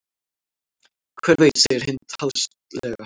Hver veit segir Hind háðslega.